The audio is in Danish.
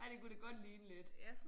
Ja det kunne det godt ligne lidt